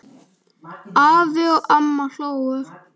Afi og amma hlógu.